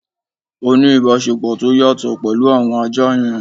Ó ní ìbáṣepọ̀ tó yàtọ̀ pẹ̀lú àwọn ajá yẹn